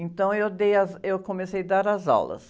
Então, eu dei as, eu comecei dar as aulas.